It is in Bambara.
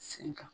Sen kan